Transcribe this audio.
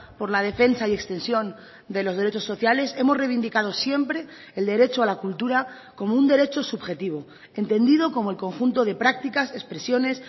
por la defensa y extensión de los derechos sociales hemos reivindicado siempre el derecho a la cultura como un derecho subjetivo entendido como el conjunto de prácticas expresiones